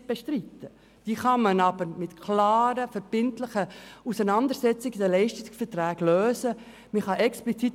Man kann diese jedoch mit klaren, verbindlichen Regelungen in den Leistungsverträgen beheben.